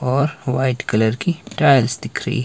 और white colour की tiles दिख री--